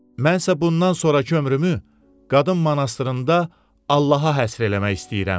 Mən isə bundan sonrakı ömrümü qadın monastırında Allaha həsr eləmək istəyirəm.